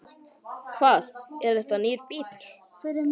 Hvað, er þetta nýr bíll?